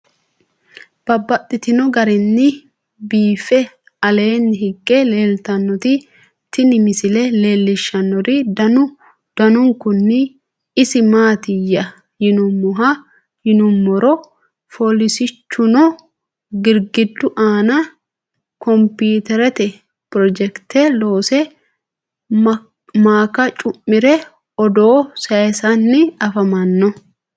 Babaxxittinno garinni biiffe aleenni hige leelittannotti tinni misile lelishshanori danu danunkunni isi maattiya yinummoro folisichchunno girigidu aanna konpiteretenni pirojekite loose, maakka cu'mire odoo sayiisanni afammanno